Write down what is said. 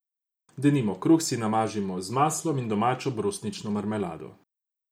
Denimo kruh si namažimo z maslom in domačo brusnično marmelado.